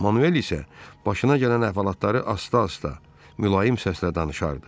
Manuel isə başına gələn əhvalatları asta-asta, mülayim səslə danışardı.